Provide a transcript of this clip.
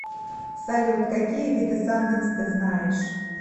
салют какие виды санденс ты знаешь